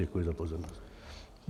Děkuji za pozornost.